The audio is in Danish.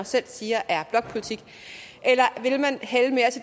selv siger er blokpolitik